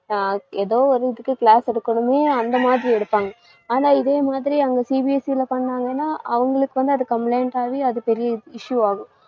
எதோ ஒரு இதுக்கு class எடுக்கணுமே அந்த மாதிரி எடுப்பாங்க. ஆனா இதேமாதிரி அங்க CBSE ல பண்ணாங்கன்னா, அவங்களுக்கு வந்து அது complaint ஆவே அது பெரிய issue ஆகும்